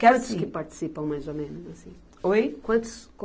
assim. que participam mais ou menos, assim? Oi? Quantos